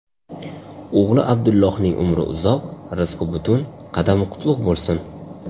O‘g‘li Abdullohning umri uzoq, rizqi butun, qadami qutlug‘ bo‘lsin!